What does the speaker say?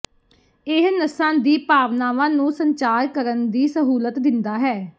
ਇਹ ਨਸਾਂ ਦੀਆਂ ਭਾਵਨਾਵਾਂ ਨੂੰ ਸੰਚਾਰ ਕਰਨ ਦੀ ਸਹੂਲਤ ਦਿੰਦਾ ਹੈ